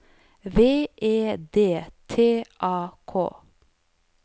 V E D T A K